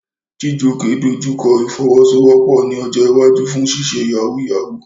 Chijioke dojú kọ ìfọwọ́sowọ́pọ̀ ní ọjọ́ iwájú fún ṣíṣe yahoo yahoo.